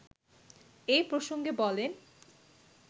এ প্রসঙ্গে বলেন